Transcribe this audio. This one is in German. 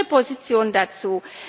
Wie ist Ihre Position dazu?